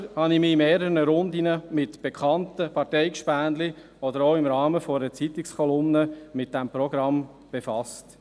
Ich selber habe mich in mehreren Runden mit Bekannten und Parteikollegen, aber auch im Rahmen einer Zeitungskolumne mit diesem Programm befasst.